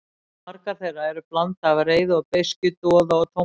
Og margar þeirra eru blanda af reiði og beiskju, doða og tómlæti.